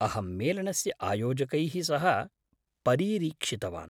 अहं मेलनस्य आयोजकैः सह परीरीक्षितवान्।